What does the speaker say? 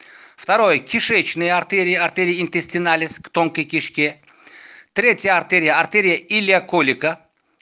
второй кишечная артерия интестиналис в тонкой кишке трети артерия артерия иляколика